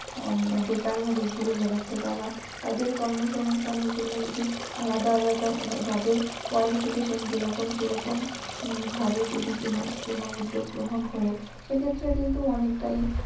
বেকার ভাবে ঘুরে বেড়াচ্ছে তাদের কর্মসংস্থানের জন্য যদি আলাদা আলাদা মানে যাদের qualification যেরকম সেরকম ভাবে যদি কোনও উদ্যোগ গ্রহন করে সেক্ষেত্রে কিন্তু অনেকটাই